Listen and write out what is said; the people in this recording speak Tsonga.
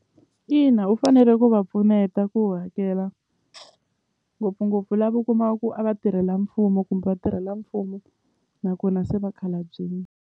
Ina u fanele ku va pfuneta ku hakela ngopfungopfu lava u kumaka ku a vatirhela mfumo kumbe vatirhela mfumo nakona se vakhalabyini.